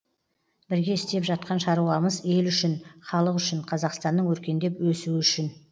бірге істеп жатқан шаруамыз ел үшін халық үшін қазақстанның өркендеп өсуі үшін